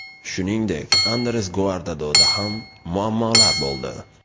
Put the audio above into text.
Shuningdek, Andres Guardadoda ham muammolar bo‘ldi.